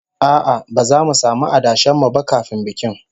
A'a, ba zamu samu adashen mu ba kafin bikin